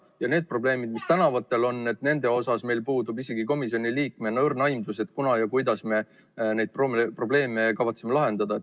Ja need probleemid, mis tänavatel on, nende osas meil puudub isegi komisjoni liikmetena õrn aimdus, kunas ja kuidas me neid probleeme kavatseme lahendada.